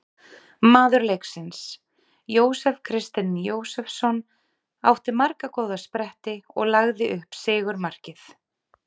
Maður leiksins: Jósef Kristinn Jósefsson- átti marga góða spretti og lagði upp sigurmarkið.